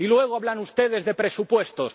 Y luego hablan ustedes de presupuestos.